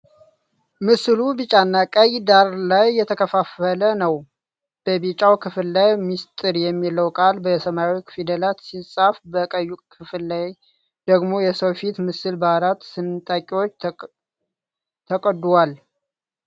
ምስሉ ቢጫና ቀይ ዳራ ላይ የተከፋፈለ ነው። በቢጫው ክፍል ላይ "ምስጢር" የሚለው ቃል በሰማያዊ ፊደላት ሲጻፍ፣ በቀዩ ክፍል ላይ ደግሞ የሰው ፊት ምስል በአራት ስንጣቂዎች ተቀዶዏል።